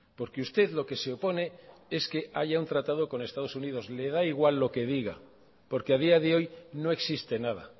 porque usted lo que se opone es que haya un tratado con estados unidos le da igual lo que diga porque ha día de hoy no existe nada